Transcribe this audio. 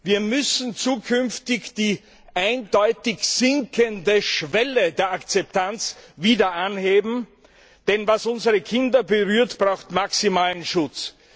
Wir müssen zukünftig die eindeutig sinkende Schwelle der Akzeptanz wieder anheben, denn was unsere Kinder berührt, erfordert maximalen Schutz.